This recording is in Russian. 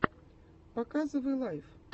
показывай лайф